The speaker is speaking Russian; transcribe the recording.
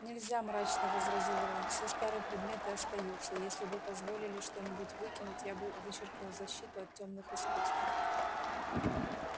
нельзя мрачно возразил рон все старые предметы остаются если бы позволили что-нибудь выкинуть я бы вычеркнул защиту от тёмных искусств